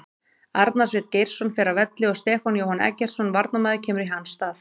Arnar Sveinn Geirsson fer af velli og Stefán Jóhann Eggertsson varnarmaður kemur í hans stað.